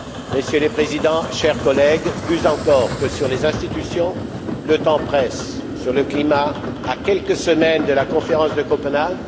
Messieurs les Présidents, chers collègues, plus encore que sur les institutions, le temps presse sur le climat, à quelques semaines de la conférence de Copenhague.